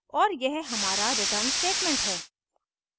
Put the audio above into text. और यह हमारा return statement है